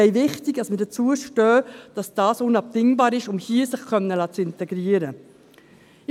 Es ist wichtig, dass wir dazu stehen, dass das unabdingbar ist, um sich hier integrieren zu lassen.